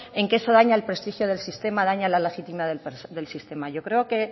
en que eso daña el prestigio del sistema daña la legítima del sistema yo creo que